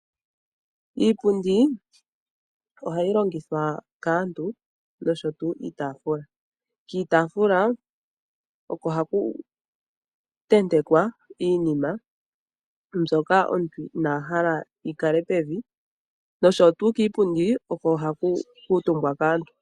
Iipundi ohayi longithwa kaantu nosho tuu iitafula. Kiitaafula oko haku tentekwa iinima mbyoka omuntu inahala yikale pevi nosho tuu kiipundi oko hagu kiitumbwa kaantu.